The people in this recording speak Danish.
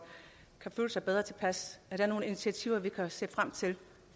kan føle sig bedre tilpas er der nogen initiativer vi kan se frem til